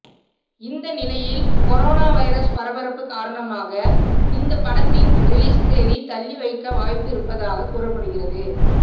இந்த நிலையில் corona virus பரபரப்பு காரணமாக இந்த படத்தின் ரிலீஸ் தேதி தள்ளி வைக்க வாய்ப்பு இருப்பதாக கூறப்படுகிறது